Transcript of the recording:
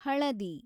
ಹಳದಿ